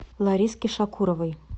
лариски шакуровой